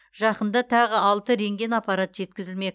жақында тағы алты рентген аппарат жеткізілмек